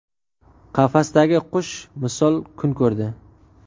Qafasdagi qush misol kun ko‘rdi.